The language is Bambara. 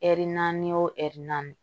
Ɛri naani o ɛri naani